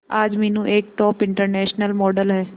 आज मीनू एक top international model है